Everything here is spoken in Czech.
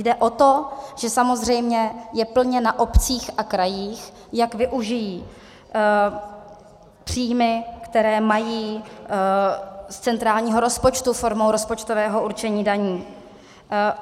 Jde o to, že samozřejmě je plně na obcích a krajích, jak využijí příjmy, které mají z centrálního rozpočtu formou rozpočtového určení daní.